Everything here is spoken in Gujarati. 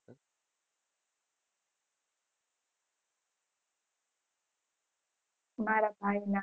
મારા ભાઈ ના